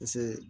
Paseke